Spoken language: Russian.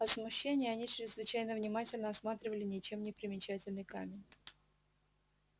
от смущения они чрезвычайно внимательно осматривали ничем не примечательный камень